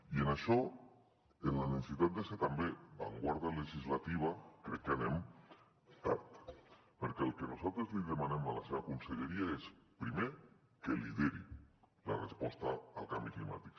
i en això en la necessitat de ser també avantguarda legislativa crec que anem tard perquè el que nosaltres li demanem a la seva conselleria és primer que lideri la resposta al canvi climàtic